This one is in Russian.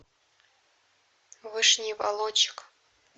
вышний волочек